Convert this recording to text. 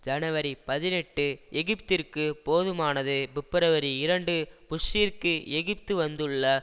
ஜனவரி பதினெட்டு எகிப்திற்கு போதுமானது பிப்ரவரி இரண்டு புஷ்ஷிற்கு எகிப்து வந்துள்ள